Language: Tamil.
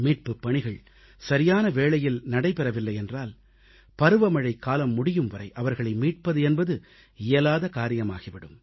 மீட்புப் பணிகள் சரியான வேளையில் நடைபெறவில்லை என்றால் பருவமழைக் காலம் முடியும் வரை அவர்களை மீட்பது என்பது இயலாத காரியமாகி விடும்